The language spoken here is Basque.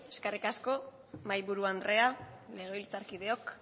eskerrik asko mahaiburu andrea legebiltzarkideok